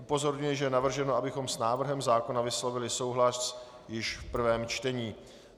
Upozorňuji, že je navrženo, abychom s návrhem zákona vyslovili souhlas již v prvém čtení.